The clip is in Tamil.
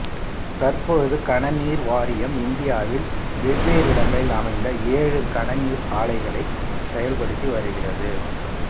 தற்பொழுது கனநீர் வாரியம் இந்தியாவில் வெவ்வேறிடங்களில் அமைந்த ஏழு கனநீர் ஆலைகளை செயல்படுத்தி வருகிறது